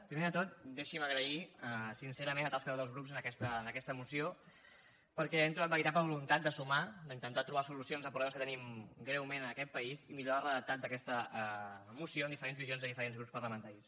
primer de tot deixi’m agrair sincerament la tasca dels grups en aquesta moció perquè hi hem trobat veritable voluntat de sumar d’intentar trobar solucions a problemes que tenim greument en aquest país i millorar el redactat d’aquesta moció amb diferents visions de diferents grups parlamentaris